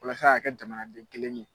Walasa a ka kɛ jamanaden kelen ye.